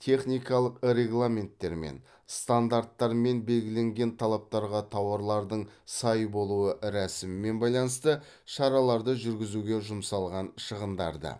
техникалық регламенттермен стандарттармен белгіленген талаптарға тауарларлың сай болуы рәсімімен байланысты шараларды жүргізуге жұмсалған шығындарды